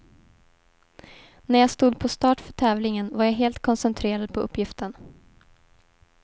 När jag stod på start för tävlingen var jag helt koncentrerad på uppgiften.